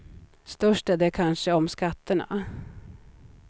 Störst är de kanske om skatterna.